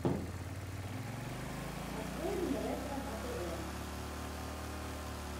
открой мне ретро на тв